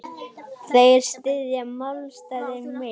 Þeir styðja málstað minn.